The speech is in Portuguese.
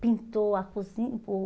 Pintou a cozin o